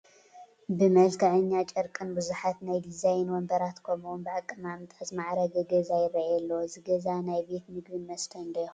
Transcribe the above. ብመልከዐኛ ጨርቅን ብዙሓት ናይ ዲዛይን ወንበራት ከምኡ ውን ብኣቀማምጣን ዝማዕረገ ገዛ ይራኣይ ኣሎ፡፡ እቲ ገዛ ናይ ቤት ምግብን መስተን ዶ ይኸውን?